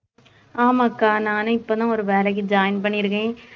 ஆமா அக்கா நானும் இப்பதான் ஒரு வேலைக்கு join பண்ணிருக்கேன்